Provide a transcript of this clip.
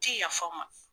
Ti yafa ma